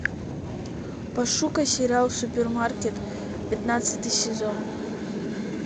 пошукай сериал супермаркет пятнадцатый сезон